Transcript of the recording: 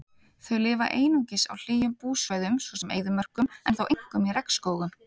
Þau lifa einungis á hlýjum búsvæðum svo sem eyðimörkum en þó einkum í regnskógum.